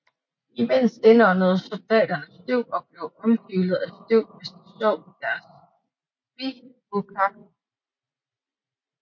Imens indåndede soldaterne støv og blev omhyllet af støv mens de sov i deres bivuakker